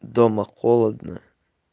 дома холодно